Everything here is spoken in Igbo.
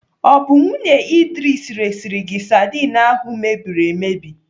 Ọ bụ nwunye Idris resiri gị sadin ahụ mebiri emebi?